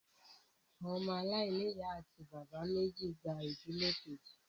Àwọn ọmọ aláìní ìyá àti bàbá méjì gba ìdílé kejì